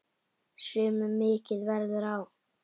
Sumum mikið verður á.